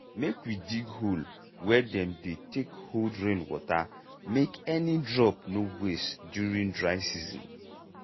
make we dig hole wey dem dey take hold rainwater make any drop no waste during dry season.